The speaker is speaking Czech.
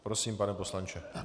Prosím, pane poslanče.